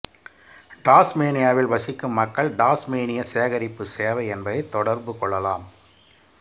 டாஸ்மேனியாவில் வசிக்கும் மக்கள் டாஸ்மேனிய சேகரிப்பு சேவை என்பதைத் தொடர்பு கொள்ளலாம்